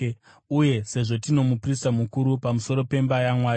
uye sezvo tino muprista mukuru pamusoro pemba yaMwari,